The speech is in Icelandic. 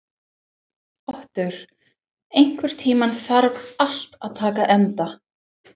Otur, einhvern tímann þarf allt að taka enda.